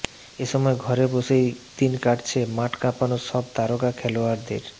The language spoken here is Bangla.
এসময় ঘরে বসেই দিন কাটছে মাঠ কাঁপানো সব তারকা খেলোয়ারদের